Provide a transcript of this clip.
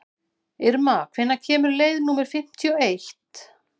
Irma, hvenær kemur leið númer fimmtíu og eitt?